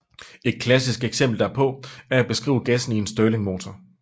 Et klassisk eksempel derpå er at beskrive gassen i en Stirlingmotor